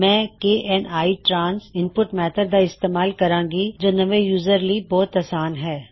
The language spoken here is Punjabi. ਮੈਂ K N I trans input method ਦਾ ਇਸਤੇਮਾਲ ਕਰਾਂਗਾ ਜੋ ਨਵੇਂ ਯੂਜ਼ਰ ਲੀ ਬਹੁਤ ਆਸਾਨ ਹੈ